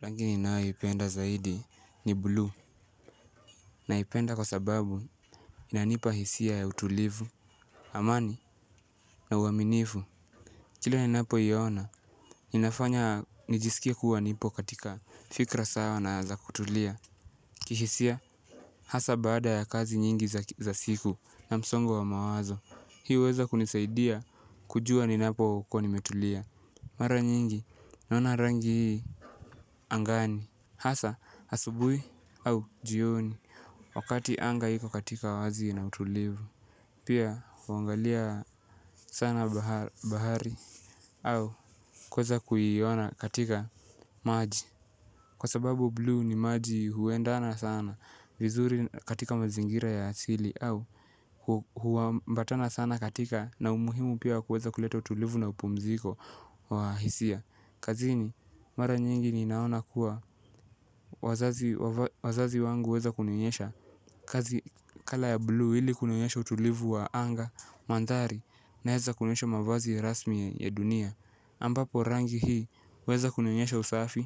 Rangi ninayoipenda zaidi ni blue. Naipenda kwa sababu inanipa hisia ya utulivu. Amani na uaminifu kila ninapoiona inafanya nijisikie kuwa nipo katika fikra sawa na za kutulia. Kihisia hasa baada ya kazi nyingi za siku na msongo wa mawazo hii huweza kunisaidia kujuwa ninapokuwa nimetulia. Mara nyingi naona rangi angani hasa asubuhi au jioni wakati anga iko katika wazi na utulivu pia huangalia sana bahari au kuweza kuiona katika maji kwa sababu blue ni maji huendana sana vizuri katika mazingira ya asili au huambatana sana katika na umuhimu pia kuweza kuleta utulivu na upumziko wa hisia. Kazini mara nyingi ninaona kuwa wazazi wangu waeza kunionyesha kazi kala ya blue ili kunionyesha utulivu wa anga, mandhari na hewa kunionyesha mavazi rasmi ya dunia ambapo rangi hii hueza kunionyesha usafi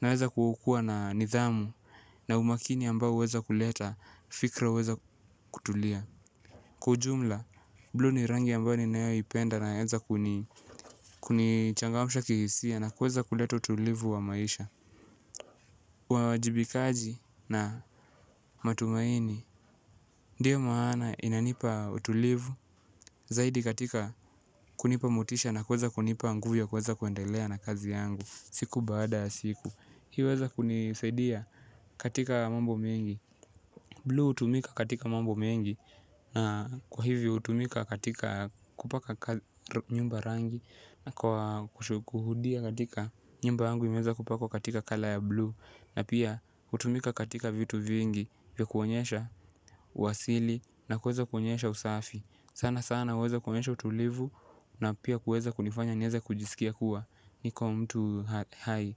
na naeza kukua na nithamu na umakini ambao huweza kuleta fikra huweza kutulia. Kwa ujumla, blue ni rangi ambayo ninayoipenda na eza kunichangamsha kihisia na kuweza kuleta utulivu wa maisha uwajibikaji na matumaini. Ndiyo maana inanipa utulivu zaidi katika kunipa motisha na kuweza kunipa nguvu ya kuweza kuendelea na kazi yangu siku baada siku hiyo huweza kunisaidia katika mambo mengi. Blue hutumika katika mambo mengi. Na kwa hivyo hutumika katika kupaka nyumba rangi na kwa kushudia katika nyumba yangu imeweza kupakwa katika kala ya blue. Na pia hutumika katika vitu vingi vya kuonyesha uasili na kuweza kuonyesha usafi. Sana sana huweza kuonyesha utulivu na pia kuweza kunifanya nieze kujisikia kuwa niko mtu hai.